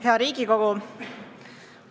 Hea Riigikogu!